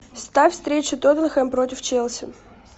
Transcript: ставь встречу тоттенхэм против челси